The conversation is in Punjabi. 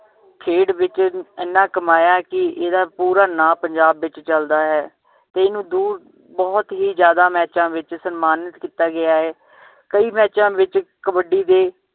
ਖੇਡ ਵਿਚ ਇਹਨਾਂ ਕਮਾਇਆ ਹੈ ਕਿ ਇਹਦਾ ਪੂਰਾ ਨਾਮ ਪੰਜਾਬ ਵਿਚ ਚਲਦਾ ਹੈ ਤੇ ਇਹਨੂੰ ਦੂਰ ਬਹੁਤ ਹੀ ਜਿਆਦਾ ਮੈਚਾਂ ਵਿਚ ਸਨਮਾਨਿਤ ਕੀਤਾ ਗਿਆ ਹੈ ਕਈ ਮੈਚਾਂ ਵਿਚ ਕਬੱਡੀ ਦੇ